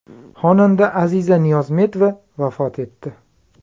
Xonanda Aziza Niyozmetova vafot etdi.